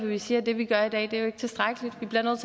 vi siger at det vi gør i dag ikke er tilstrækkeligt vi bliver nødt